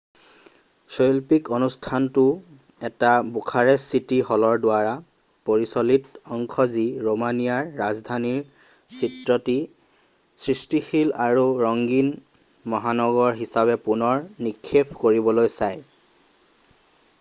শৈল্পিক অনুষ্ঠানটোও এটা বুখাৰেষ্ট চিটি হলৰ দ্বাৰা পৰিচালিত অংশ যি ৰোমানিয়াৰ ৰাজধানীৰ চিত্ৰটি সৃষ্টিশীল আৰু ৰঙীন মহানগৰ হিচাবে পুনৰ নিক্ষেপ কৰিবলৈ চায়